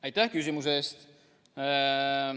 Aitäh küsimuse eest!